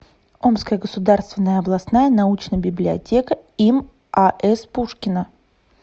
омская государственная областная научная библиотека им ас пушкина